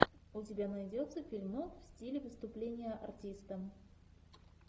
у тебя найдется фильмок в стиле выступление артиста